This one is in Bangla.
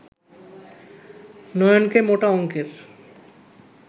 নয়নকে মোটা অঙ্কের